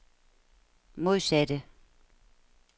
modsatte